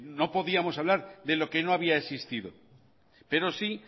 no podíamos hablar de lo que no había existido pero sí